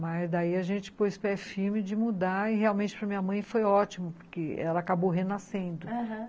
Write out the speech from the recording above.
Mas daí a gente pôs pé firme de mudar e realmente para minha mãe foi ótimo, porque ela acabou renascendo, aham.